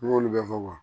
N y'olu bɛɛ fɔ wa